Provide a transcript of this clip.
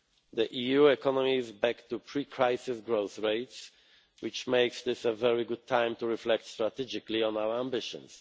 EMU. The EU economy is back to pre crisis growth rates, which makes this a very good time to reflect strategically on our ambitions.